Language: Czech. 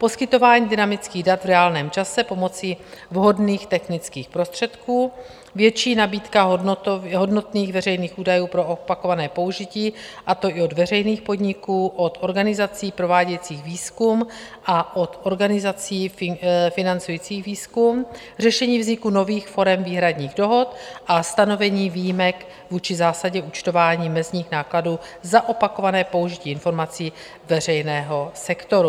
Poskytování dynamických dat v reálném čase pomocí vhodných technických prostředků, větší nabídka hodnotných veřejných údajů pro opakované použití, a to i od veřejných podniků, od organizací provádějících výzkum a od organizací financujících výzkum, řešení vzniku nových forem výhradních dohod a stanovení výjimek vůči zásadě účtování mezních nákladů za opakované použití informací veřejného sektoru.